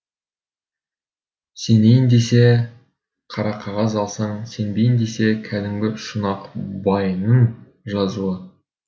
сенейін десе қарақағаз алған сенбейін десе кәдімгі шұнақ байының жазуы